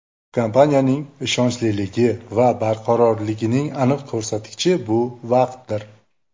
Kompaniyaning ishonchliligi va barqarorligining aniq ko‘rsatkichi bu vaqtdir.